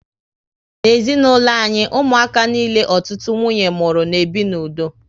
N'ezinaulo anyị, ụmụaka niile ọtụtụ nwunye mụrụ na ebi n'udo